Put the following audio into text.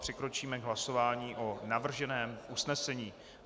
Přikročíme k hlasování o navrženém usnesení.